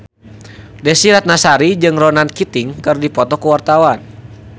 Desy Ratnasari jeung Ronan Keating keur dipoto ku wartawan